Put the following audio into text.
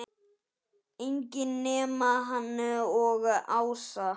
Enginn nema hann og Ása.